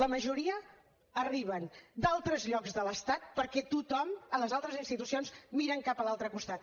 la majoria arriben d’altres llocs de l’estat perquè tothom a les altres institucions miren cap a l’altre costat